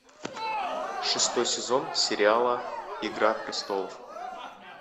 шестой сезон сериала игра престолов